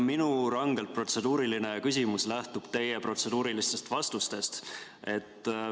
Minu rangelt protseduuriline küsimus lähtub teie protseduurilistest vastustest.